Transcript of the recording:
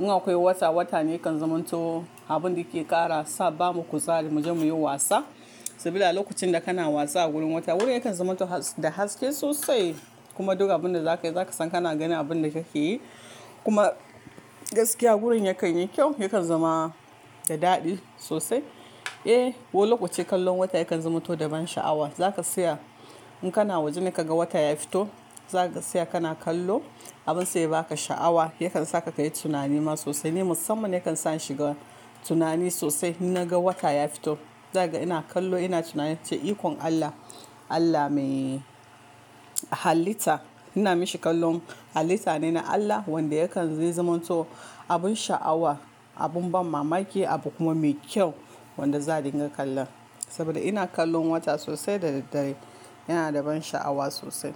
In akwai wata, wata ne kan zumunto abin da ke ƙara sa ba mu kuzari mu je muyi wasa. Saboda a lokacin da kana wasa a gurin wata wurin yakan zumunto da haske sosai kuma duka abin da zaka yi zaka san kana ganin abin da kake yi. Kuma gaskiya wurin yakan yi kyau, yakan zama da daɗi sosai. Eh, wai lokoce kallon wata yakan zumunto da ban sha'awa. Zaka saya in kana waje kaga wata ya fito, za ka saya kana kallo abin sai ba ka sha'awa yakan saka kayi tunani ma sosai ne musamman yakan sa shiga tunani sosai. Na ga wata ya fito, zaga ina kallo ina tunanin ce ikon Allah, Allah mai halitta. Ina mashi kallon halitta ne na Allah wanda yakan yi zumunto abun sha'awa, abun ban mamaki abu kuma mai kyau wanda za a dinga kallan. Saboda ina kallon wata sosai da daddare yana da ban sha'awa sosai.